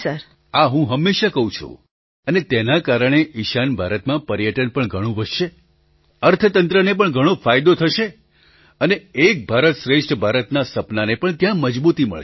પ્રધાનમંત્રી આ હું હંમેશાં કહું છું અને તેના કારણે ઈશાન ભારતમાં પર્યટન પણ ઘણું વધશે અર્થંતંત્રને પણ ઘણો ફાયદો થશે અને એક ભારત શ્રેષ્ઠ ભારતના સપનાને પણ ત્યાં મજબૂતી મળશે